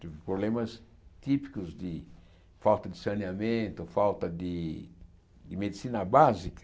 Problemas típicos de falta de saneamento, ou falta de de medicina básica.